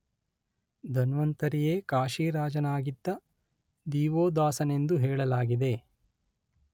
ಧನ್ವಂತರಿಯೇ ಕಾಶಿರಾಜನಾಗಿದ್ದ ದಿವೋದಾಸನೆಂದೂ ಹೇಳಲಾಗಿದೆ.